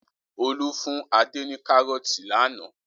Olú fún Adé ní kárọ́tì lánàá.